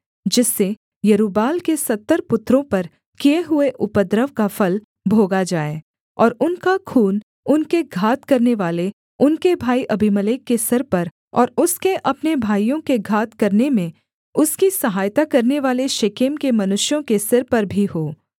जिससे यरूब्बाल के सत्तर पुत्रों पर किए हुए उपद्रव का फल भोगा जाए और उनका खून उनके घात करनेवाले उनके भाई अबीमेलेक के सिर पर और उसके अपने भाइयों के घात करने में उसकी सहायता करनेवाले शेकेम के मनुष्यों के सिर पर भी हो